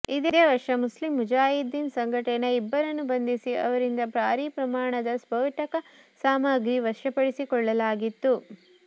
ಇದೇ ವರ್ಷ ಮುಸ್ಲಿಂ ಮುಜಾಹಿದ್ದೀನ್ ಸಂಘಟನೆಯ ಇಬ್ಬರನ್ನು ಬಂಧಿಸಿ ಅವರಿಂದ ಭಾರಿ ಪ್ರಮಾಣದ ಸ್ಫೋಟಕ ಸಾಮಗ್ರಿ ವಶಪಡಿಸಿಕೊಳ್ಳಲಾಗಿತ್ತು